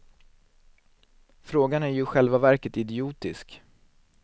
Frågan är ju i själva verket idiotisk.